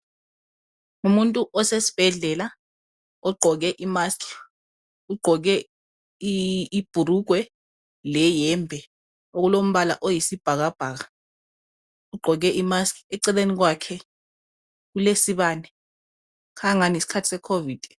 Ngumuntu osesibhedlela ogqoke imusk ugqoke ibhulugwe leyembe okulombala oyisibhakabhaka ugqoke imusk eceleni kwakhe kulesibane kukhanya engani yisikhathi secovid.